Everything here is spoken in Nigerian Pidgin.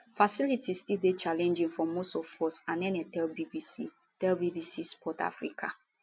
facilities still dey challenging for most of us anene tell bbc tell bbc sport africa